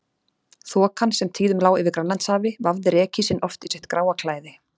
Þokan, sem tíðum lá yfir Grænlandshafi, vafði rekísinn oft í sitt gráa klæði.